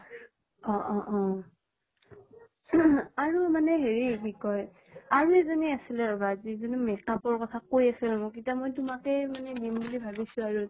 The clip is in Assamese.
অ অ অহ । আৰু মানে হেৰি কি কই আৰু এজনী আছিলে ৰবা যিজনী makeup ৰ কথা কৈ আছিল মোক। এতিয়া মই তোমাকে দিম বুলি ভাবিছো আৰু।